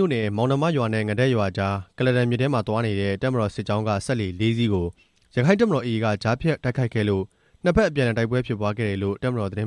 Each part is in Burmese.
ြို့နယ်၊ မောင်နှမရွာနဲ့ ငဒက်ရွာကြား ကုလားတန်မြစ်အတွင်း သွားနေတဲ့ တပ်မတော်စစ်ကြောင်းက စက်လှေ လေးစီးကို ရက္ခိုင့်တပ်မတော် AA က ကြားဖြတ် တိုက်ခိုက်ခဲ့တာကြောင့် တပ်မတော်အရာရှိ နှစ်ယောက် ကျ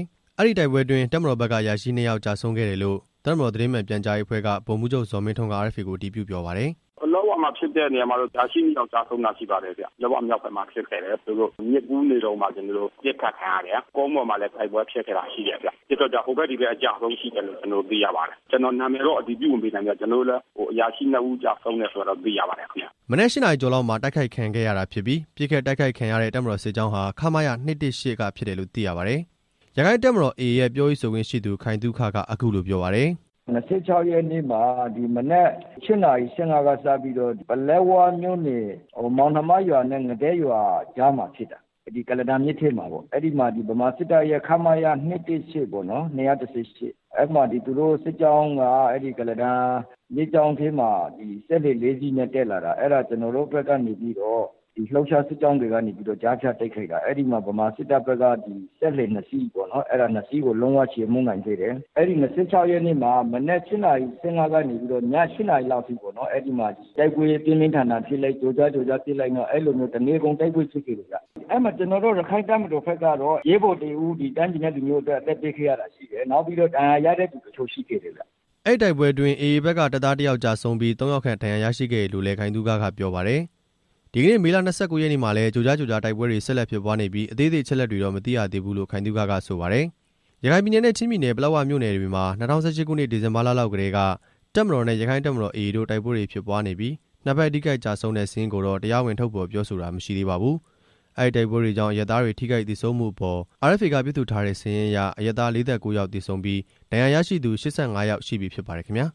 ဆုံးခဲ့သလို AA ဘက်ကလည်း တစ်ယောက် ကျဆုံးခဲ့တယ်လို့ နှစ်ဖက်ပြောခွင့်ရသူတွေက ပြောပါတယ်။ အဲဒီတိုက်ပွဲအတွင်း တပ်မတော်ဘက်က အရာရှိနှစ်ယောက် ကျဆုံးခဲ့တယ်လို့ တပ်မတော်သတင်းမှန် ပြန်ကြားရေးအဖွဲ့က ဗိုလ်မှူးချုပ် ဇော်မင်းထွန်းက RFA ကို အတည်ပြုပြောပါတယ်။ "ပလက်ဝမှာဖြစ်တဲ့နေရာမှာတော့ အရာရှိနှစ်ယောက် ကျဆုံးတာရှိပါတယ်ဗျ၊ ပလက်ဝမြောက်ဘက်မှာ ဖြစ်ခဲ့တယ်၊ မြစ်ကူးနေတုန်းမှာ ကျွန်တော်တို့ ပစ်ခတ်ခံရတယ်၊ နောက်ပြီးတော့ ကုန်းပေါ်မှာလည်း တိုက်ပွဲဖြစ်ခဲ့တာရှိတယ်ဗျ၊ ဒီအတွက်ကြောင့် ဟိုဘက်ဒီဘက် အကျအဆုံးရှိတယ်လို့ ကျွန်တော်တို့ သိရပါတယ်၊ ကျွန်တော်နာမည်တော့ အတည်မပြုပေးနိုင်ဘူးဗျ၊ ကျွန်တော်တို့လည်း အရာရှိ နှစ်ဦး သေဆုံးတယ်ဆိုတာတော့ သိရပါတယ်ခင်ဗျ ဟုတ်" မနက် ရှစ်နာရီကျော်လောက်မှာ တိုက်ခိုက်ခံခဲ့ရတာဖြစ်ပြီး ပစ်ခတ်တိုက်ခိုက်ခံရတဲ့ တပ်မတော်စစ်ကြောင်းဟာ ခမရ ၂၁၈ က ဖြစ်တယ်လို့ သိရပါတယ်။ ရက္ခိုင့်တပ်မတော် AA ရဲ့ပြောရေးဆိုခွင့်ရှိသူ ခိုင်သုခက အခုလိုပြောပါတယ်။ "၂၆ ရက်နေ့မှာ ဒီမနက် ၈ နာရီ ၁၅ က စပြီးတော့ ပလက်ဝမြို့နယ် မောင်နှမရွာနဲ့ ငဒက်ရွာကြားမှာ ဖြစ်တာ၊ ဒီကုလားတန်မြစ်ထဲမှာပေါ့၊ အဲမှာ ဗမာစစ်တပ်ရဲ့ ခမရ ၂၁၈ ပေါ့နော်၊ အဲမှာ ဒီသူတို့စစ်ကြောင်းက ကုလားတန်မြစ်ကြောင်းထဲမှာ စက်လှေ လေးစီးနဲ့ တက်လာတာ အဲဒါ ကျွန်တော်တို့ဘက်ကနေပြီးတော့ ဒီလှုပ်ရှားစစ်ကြောင်းတွေကနေပြီးတော့ ကြားဖြတ်တိုက်ခိုက်တာ၊ အဲ့ဒီမှာ ဗမာစစ်တပ်ဘက်က စက်လှေနှစ်စီးပေါ့နော် အဲ့တာ နှစ်စီးကိုလုံးဝချေမှုန်းနိုင်ခဲ့တယ်၊ အဲ့ဒီ ၂၆ ၂၆ ရက်နေ့မှာ မနက် ၈ နာရီ ၁၅ ကနေ ည ၈ နာရီလောက်အထိပေါ့နော် အဲဒီမှာ တိုက်ပွဲပြင်းပြင်းထန်ထန်ဖြစ်လိုက် ကြိုကြားကြိုကြားဖြစ်လိုက်နဲ့ အဲလိုမျိုး တစ်နေကုန် တိုက်ပွဲဖြစ်ခဲ့တယ်ဗျ၊ အဲမှာကျွန်တော်တို့ ရက္ခိုင့်တပ်မတော်ဘက်ကတော့ ရဲဘော်တစ်ဦး တိုင်းပြည်နဲ့လူမျိုးအတွက် အသက်ပေးခဲ့ရတာရှိတယ်၊ နောက်ပြီးတော့ ဒဏ်ရာရရှိတဲ့သူတချို့ ရှိခဲ့တယ်ဗျ" အဲဒီတိုက်ပွဲအတွင်း AA ဘက်က တပ်သားတစ်ယောက်ကျဆုံးပြီး သုံးယောက်ခန့် ဒဏ်ရာရှိခဲ့တယ်လို့လည်း ခိုင်သုခက ပြောပါတယ်။ ဒီကနေ့ မေလ ၂၉ ရက်နေ့မှာလည်း ကြိုကြားကြိုကြား တိုက်ပွဲတွေဆက်လက်ဖြစ်ပွားနေပြီး အသေးစိတ်အချက်အလက်တွေတော့ မသိရသေးဘူးလို့ ခိုင်သုခက ပြောပါတယ်။ ရခိုင်ပြည်နယ်နဲ့ ချင်းပြည်နယ် ပလက်ဝမြို့နယ်တွေမှာ ၂၀၁၈ ခုနှစ် ဒီဇင်ဘာလလောက်ကတည်းက တပ်မတော်နဲ့ ရက္ခိုင့်တပ်မတော် AA တို့ တိုက်ပွဲတွေဖြစ်ပွားနေပြီး နှစ်ဘက်ထိခိုက်ကျဆုံးတဲ့ စာရင်းကိုတော့ တရားဝင် ထုတ်ဖော်ပြောဆိုတာ မရှိသေးပါဘူး။ အဲဒီတိုက်ပွဲတွေကြောင့် အရပ်သားတွေ ထိခိုက်သေဆုံးမှုအပေါ် RFA ကပြုစုထားတဲ့စာရင်းအရ အရပ်သား ၄၉ ယောက်သေဆုံးပြီး ဒဏ်ရာရရှိသူ ၈၅ ယောက်ယောက်ရှိပြီဖြစ်ပါတယ်ခင်ဗျာ။